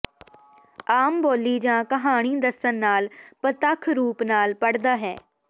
ਆਮ ਬੋਲੀ ਜਾਂ ਕਹਾਣੀ ਦੱਸਣ ਨਾਲ ਪ੍ਰਤੱਖ ਰੂਪ ਨਾਲ ਪੜ੍ਹਦਾ ਹੈ